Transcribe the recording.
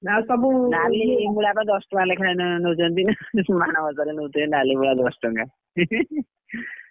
ନାଲିମୂଳାକୁ ଦଶ ଟଙ୍କା ଲେଖା ନଉଛନ୍ତି, ମାଣବସା କରିବାକୁ ନାଲି ମୂଳା ଦଶ ଟଙ୍କା।